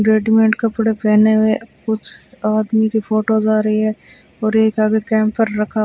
readymade कपड़े पहने हुए कुछ आदमी के फोटोस आ रही है और एक आगे कैंपर रखा--